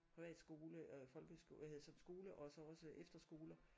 Privat skole og folkeskole hvad hedder sådan skole og så også efterskoler